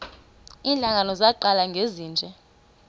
iintlanga zaqala ngezinje